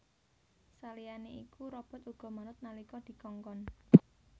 Saliyané iku robot uga manut nalika dikongkon